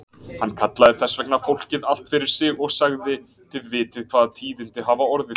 Hann kallaði þess vegna fólkið allt fyrir sig og sagði:-Þið vitið hvaða tíðindi hafa orðið.